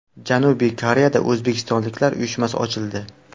Janubiy Koreyada o‘zbekistonliklar uyushmasi ochildi.